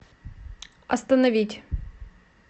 остановить